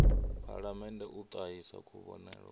phalamennde u ṱahisa kuvhonele kwavho